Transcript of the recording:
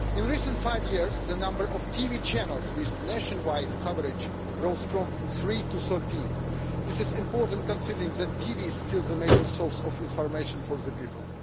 In the last five years the number of TV channels with nationwide coverage rose from 3 to 13. This is important considering that TV is still the major source of information for the people.